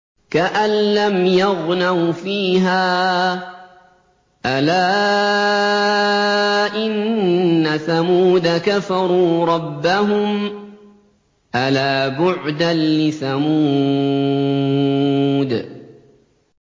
كَأَن لَّمْ يَغْنَوْا فِيهَا ۗ أَلَا إِنَّ ثَمُودَ كَفَرُوا رَبَّهُمْ ۗ أَلَا بُعْدًا لِّثَمُودَ